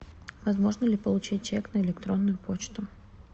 возможно ли получить чек на электронную почту